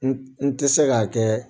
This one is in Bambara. N n tɛ se k'a kɛ